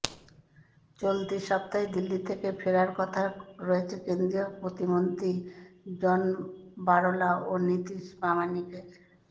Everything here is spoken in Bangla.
চলতি সপ্তাহেই দিল্লি থেকে ফেরার কথা রয়েছে কেন্দ্রীয় প্রতিমন্ত্রী জন বারলা ও নিশীথ প্রামাণিকের